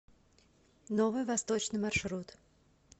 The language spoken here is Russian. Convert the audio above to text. новый восточный маршрут